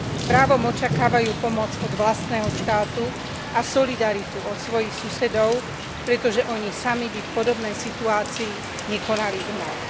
Právom očakávajú pomoc od vlastného štátu a solidaritu od svojich susedov, pretože oni sami by v podobnej situácii nekonali inak.